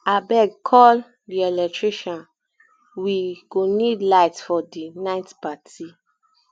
abeg call um the electrician we um go need light for the um night party